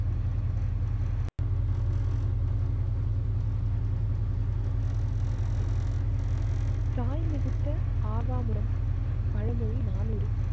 தாய்மிதித்த ஆவா மூலம் பழமொழி நானூரு